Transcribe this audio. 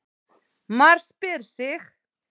MAR SPYR SIG!